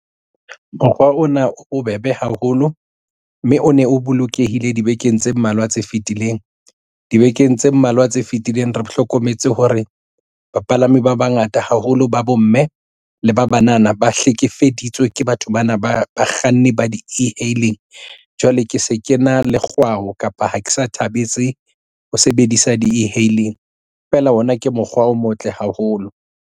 Mokgwa ona o bebe haholo, mme o ne o bolokehile dibekeng tse mmalwa tse fitileng dibekeng tse mmalwa tse fitileng re hlokometse hore bapalami ba bangata haholo ba bomme le ba banana ba hlekefeditswe ke batho bana ba bakganni ba di-e-hailing jwale ke se ke na le kgwao kapa ha ke sa thabetse ho sebedisa di-e-hailing feela ona ke mokgwa o motle haholo.